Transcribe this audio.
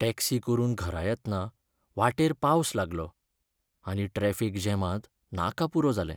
Taxi करून घरा येतना वाटेर पावस लागलो, आनी ट्रॅफीक जॅमांत नाका पुरो जालें.